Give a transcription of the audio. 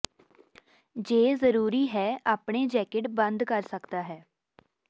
ਜੇ ਜਰੂਰੀ ਹੈ ਆਪਣੇ ਜੈਕਟ ਬੰਦ ਕਰ ਸਕਦਾ ਹੈ